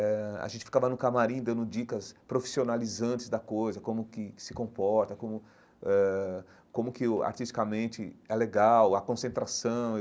Eh a gente ficava no camarim dando dicas profissionalizantes da coisa, como que se comporta, como eh como que o artisticamente é legal, a concentração.